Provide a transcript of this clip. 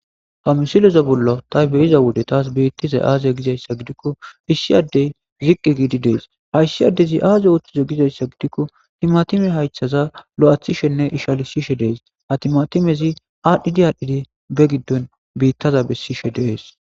hamisileza bollo ta be'iza wode taas beittiza aaze gizayssa gidikko issi addey ziqqi giidi dees hayssi addezi aaze uothtizo gizayssa gidikko timatime haythaza lo7athishenne ishalisishe dees ha timatimezi aadhdhidi aadhdhidi be giddon biittaza bessishe de'ees